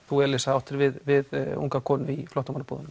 þú Elísa áttir við við unga konu í flóttamannabúðunum